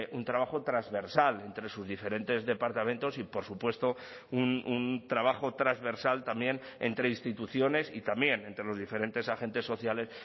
un trabajo transversal entre sus diferentes departamentos y por supuesto un trabajo transversal también entre instituciones y también entre los diferentes agentes sociales